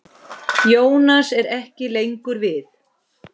Jónas er ekki lengur við.